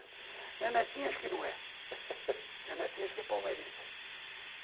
Minha netinha acho que não é. Minha netinha acho que é palmeirense.